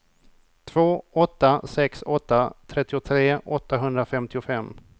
två åtta sex åtta trettiotre åttahundrafemtiofem